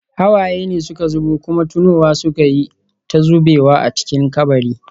Hawaye ne suka zubo, kuma tunowa suka yi ta zubewa a cikin kabari.